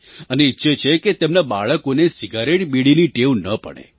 અને ઈચ્છે છે કે તેમનાં બાળકોને સિગરેટબીડીની ટેવ ન પડે